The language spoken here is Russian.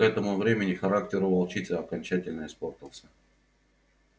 к этому времени характер у волчицы окончательно испортился